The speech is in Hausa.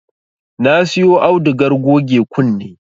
Na siyo audugar goge kunne